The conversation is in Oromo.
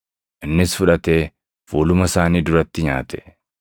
innis fudhatee fuuluma isaanii duratti nyaate.